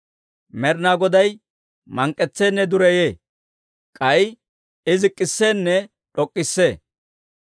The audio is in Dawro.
Med'inaa Goday mank'k'etseenne dureyee; k'ay I zik'k'isseenne d'ok'k'issee.